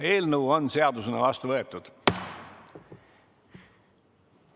Eelnõu on seadusena vastu võetud.